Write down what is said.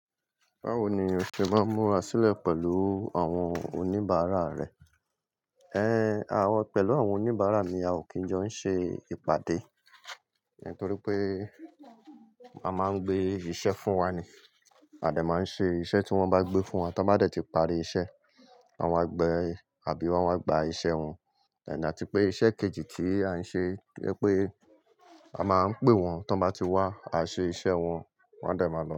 Báwo ni o ṣe máa ń múra sílẹ̀ pẹ̀lú àwọn oníbàárà rẹ? Ẹ́h, àwọn pẹ̀lú àwọn oníbàárà ni a ò kí jẹ́ ń ṣe ìpàdé. Nítorí pé a máa ń gbé iṣẹ́ fún wa ni. A de máa ń ṣe iṣẹ́ tí wọ́n bá gbé fún wa. Tan bá de tí parí iṣẹ́, wọn wá gbe àbí wọ́n wá gba iṣẹ́ wọn. Then àti pé iṣẹ́ kejì tí a n ṣe wipé a máa ń pè wọ́n, tan bá ti wá, a ṣe iṣẹ́ wọn, wọn a de máa lọ.